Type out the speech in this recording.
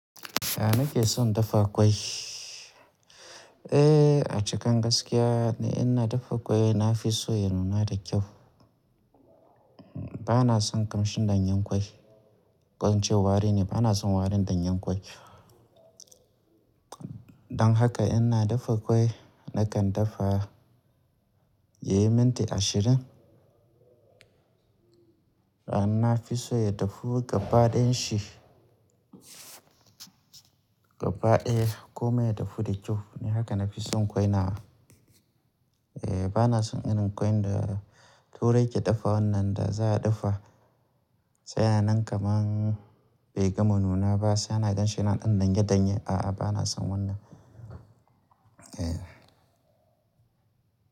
Ya nake son dafa ƙwai. Eh, a cikin gaskiya in na dafa ƙwai na fi so ya nuna da kyau. Bana son kamshin danyen ƙwai, ko in ce wari ne, bana son warin danyen ƙwai. Don haka in na dafa ƙwai, nakan dafa ya yi minti ashirin. Na fi so ya dafu gaba ɗayan shi. Gaba ɗaya komai ya dafu da kyau, ni haka na fi son ƙwai na. Eh bana son irin ƙwai da turai ke dafa wannan da za a dafa yan nan kaman bai gama nuna ba sai ana ganshi yana dan ɗanye ɗanye. A'a, bana son wannan. Eh.